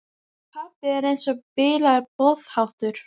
Pabbi er eins og bilaður boðháttur.